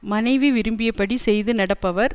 மனைவி விரும்பியபடி செய்து நடப்பவர்